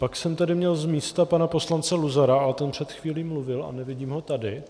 Pak jsem tady měl z místa pana poslance Luzara, ale ten před chvílí mluvil a nevidím ho tady.